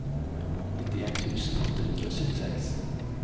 nittien tusen åtte hundre og syttiseks